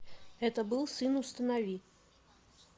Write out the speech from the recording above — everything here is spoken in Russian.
это был сын установи